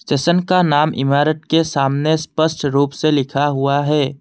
Station का नाम इमारत के सामने स्पष्ट रूप से लिखा हुआ है।